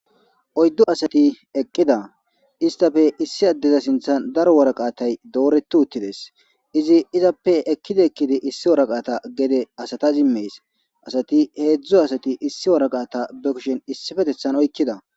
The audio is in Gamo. oyddu asati eqqida istafe issi addeza sinthan daro woraqatay dooretu uttides izi izappe ekkida ekkidi issi woraqata gede asata zimmees asati heedzdzu asati issi woraqata be kishen issifetethan oykkida